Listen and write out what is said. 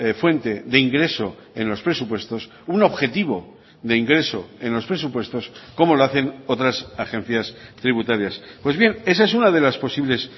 fuente de ingreso en los presupuestos un objetivo de ingreso en los presupuestos como lo hacen otras agencias tributarias pues bien esa es una de las posibles